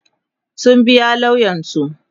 sun biya lauyansu